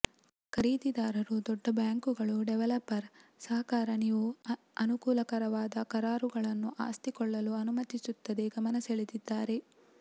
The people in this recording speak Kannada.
ಖರೀದಿದಾರರು ದೊಡ್ಡ ಬ್ಯಾಂಕುಗಳು ಡೆವಲಪರ್ ಸಹಕಾರ ನೀವು ಅನುಕೂಲಕರವಾದ ಕರಾರುಗಳನ್ನು ಆಸ್ತಿ ಕೊಳ್ಳಲು ಅನುಮತಿಸುತ್ತದೆ ಗಮನಸೆಳೆದಿದ್ದಾರೆ